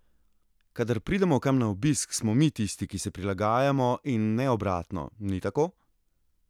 Kadar pridemo kam na obisk, smo mi tisti, ki se prilagajamo, in ne obratno, ni tako?